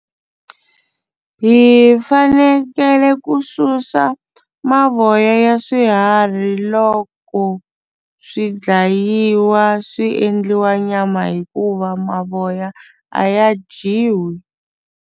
Hi fanekele ku susa mavoya ya swiharhi loko swi dlayiwa swi endliwa nyama hikuva mavoya a ya dyiwi.